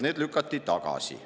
Need lükati tagasi.